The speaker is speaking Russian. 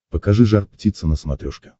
покажи жар птица на смотрешке